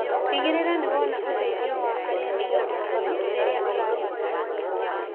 Tigĩrĩra nĩ wona ũteithio wa arĩa mena ũmenyo rĩrĩa ũrabataranĩa.